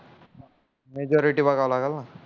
majority बघाव लागल ना